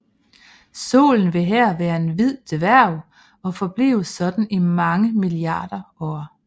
Solen vil her være en hvid dværg og forblive sådan i mange milliarder år